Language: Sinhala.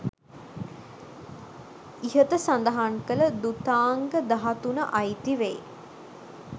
ඉහත සඳහන් කළ ධුතාංග දහතුන අයිති වෙයි.